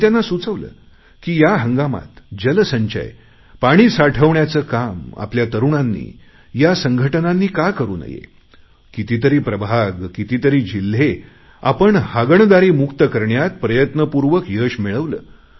मी त्यांना सुचवले की या हंगामात जलसंचय पाणी साठवण्याचे काम आपल्या तरुणांनी संघटनांनी का करु नये कितीतरी प्रभाग कितीतरी जिल्हे आपण हागणदारी मुक्त करण्यात प्रयत्नपूर्वक यश मिळवले